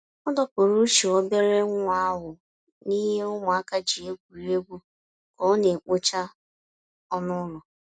Ọ dọpụrụ uche obere nwa ahụ n'he ụmụaka ji egwuri egwu ka ọ na-ekpocha ọnụ ụlọ.